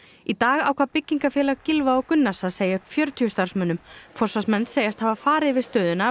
í dag ákvað Byggingafélag Gylfa og Gunnars að segja upp fjörutíu starfsmönnum forsvarsmenn segjast hafa farið yfir stöðuna